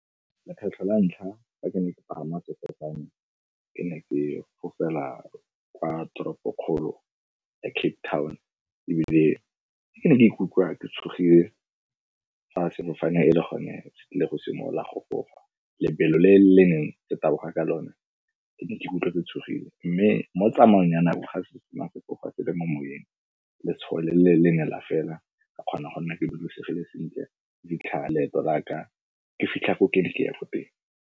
Lekgetlho la ntlha fa ke ne ke pagama sefofane, ke ne ke fofela kwa toropo-kgolo ya Cape Town, ebile ke ne ke ikutlwa ke tshogile fa sefofane e le gone se tlile go simolola go fofa. Lebelo le le neng le taboga ka lone ke ne ke ikutlwa ke tshogile, mme mo tsamaong ya nako ga se sena go tloga se le mo moeng, letshogo le ne la feela, ka kgona go nna ke dudisegile sentle go fitlhela leeto laka ke fitlha ko ke ne ke ya ko teng.